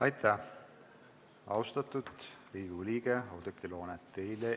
Aitäh, austatud Riigikogu liige Oudekki Loone!